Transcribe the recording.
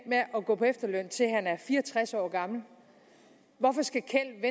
med at gå på efterløn til han er fire og tres år gammel hvorfor skal kjeld